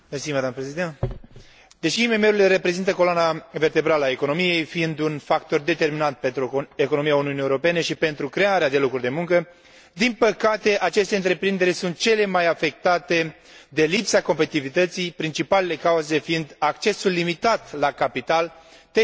Deși IMM urile reprezintă coloana vertebrală a economiei, fiind un factor determinant pentru economia Uniunii Europene și pentru crearea de locuri de muncă, din păcate aceste întreprinderi sunt cele mai afectate de lipsa competitivității, principalele cauze fiind accesul limitat la capital, tehnologie și infrastructură.